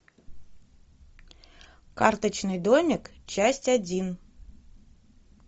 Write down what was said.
карточный домик часть один